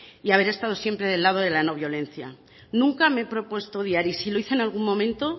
y haber estado siempre del lado de la no violencia nunca me he propuesto odiar y si lo hice en algún momento